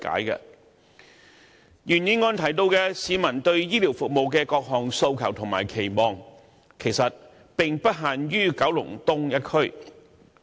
原議案提到市民對醫療服務的各項訴求和期望，其實並不限於九龍東一區。